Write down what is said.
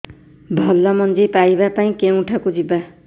ଭଲ ମଞ୍ଜି ପାଇବା ପାଇଁ କେଉଁଠାକୁ ଯିବା